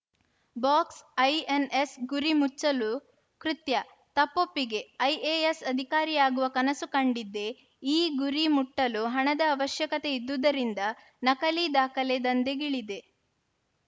box ಐ ಎನ್ಎಸ್ ಗುರಿ ಮುಚ್ಚಲು ಕೃತ್ಯ ತಪ್ಪೊಪ್ಪಿಗೆ ಐ ಎ ಎಸ್ ಅಧಿಕಾರಿ ಯಾಗುವ ಕನಸು ಕಂಡಿದ್ದೆ ಈ ಗುರಿ ಮುಟ್ಟಲು ಹಣದ ಅವಶ್ಯಕತೆ ಇದ್ದುದರಿಂದ ನಕಲಿ ದಾಖಲೆ ದಂದೆಗೆ ಇಳಿದೆ